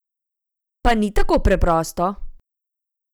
Pa ni tako preprosto!